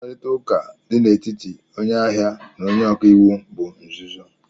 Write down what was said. Mkparịta ụka dị n'etiti onye ahịa na onye ọka iwu bụ nzuzo